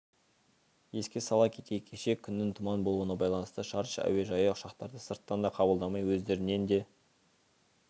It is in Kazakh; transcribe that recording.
еске сала кетейік кеше күннің тұман болуына байланысты шардж әуежайы ұшақтарды сырттан да қабылдамай өздерінен де